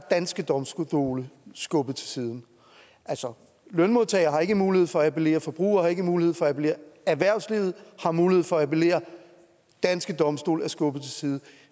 danske domstole skubbet til side altså lønmodtagere har ikke mulighed for at appellere forbrugere har ikke mulighed for at appellere erhvervslivet har mulighed for at appellere danske domstole er skubbet til side